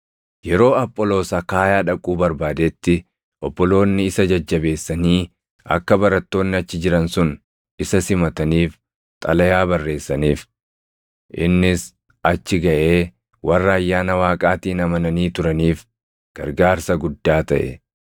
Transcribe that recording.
Yeroo Apholoos Akaayaa dhaquu barbaadetti obboloonni isa jajjabeessanii akka barattoonni achi jiran sun isa simataniif xalayaa barreessaniif. Innis achi gaʼee warra ayyaana Waaqaatiin amananii turaniif gargaarsa guddaa taʼe.